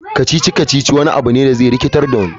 Kacici-kacici wani abu ne da zai rikitar da wani.